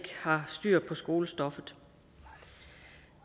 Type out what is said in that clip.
har styr på skolestoffet